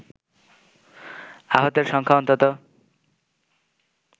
আহতের সংখ্যা অন্তত